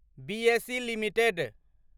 BSE limited